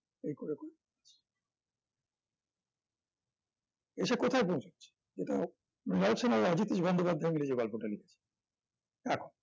এসব কোথায় পৌঁছচ্ছে যেটা মৃনাল সেন আর রাজ জ্যোতিষ বন্দ্যোপাধ্যায় মিলে যে গল্পটা লিখেছেন এখন